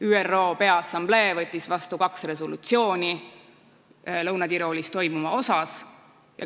ÜRO Peaassamblee võttis vastu kaks resolutsiooni Lõuna-Tiroolis toimuva kohta.